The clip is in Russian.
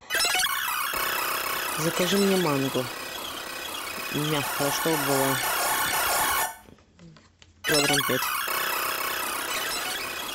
закажи мне манго мягкое чтобы было килограмм пять